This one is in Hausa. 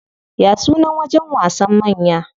Ya sunan wajen wasan manya?